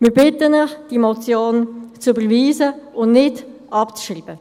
Wir bitten Sie, diese Motion zu überweisen und nicht abzuschreiben.